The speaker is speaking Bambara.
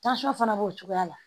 fana b'o cogoya la